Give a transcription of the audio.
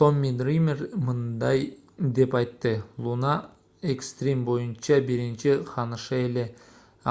томми дример мындай деп айтты луна экстрим боюнча биринчи ханыша эле